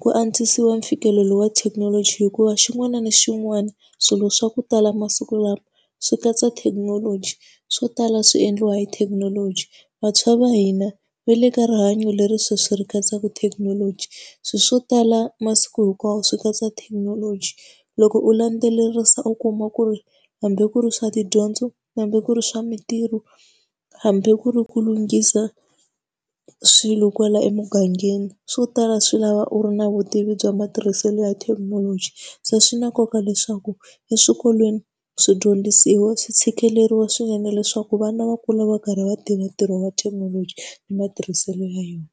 ku antswisiwa mfikelelo wa thekinoloji hikuva xin'wana na xin'wana swilo swa ku tala masiku lawa swi katsa thekinoloji. Swo tala swi endliwa hi thekinoloji, vantshwa va hina va le ka rihanyo leri sweswi ri katsaka thekinoloji, swilo swo tala masiku hinkwawo swi katsa thekinoloji. Loko u landzelerisa u kuma ku ri hambi ku ri swa tidyondzo, hambi ku ri swa mintirho, hambi ku ri ku lunghisa swilo kwala emugangeni, swo tala swi lava u ri na vutivi bya matirhiselo ya thekinoloji. Se swi na nkoka leswaku eswikolweni, swidyondzisiwa swi tshikeleriwa swinene leswaku vana va kula va karhi va tiva ntirho wa thekinoloji ni matirhiselo ya yona.